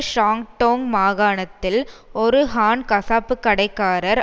Shandong மாகாணத்தில் ஒரு Han கசாப்புக்கடைக்காரர்